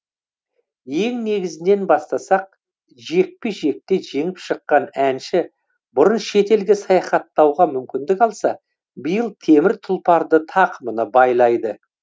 ең негізінен бастасақ жекпе жекте жеңіп шыққан әнші бұрын шетелге саяхаттауға мүмкіндік алса биыл темір тұлпарды тақымына байлайды